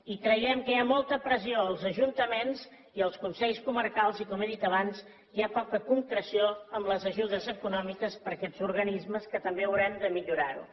i creiem que hi ha molta pressió als ajuntaments i als consells comarcals i com he dit abans hi ha poca concreció en les ajudes econòmiques per a aquests organismes que també haurem de millorar ho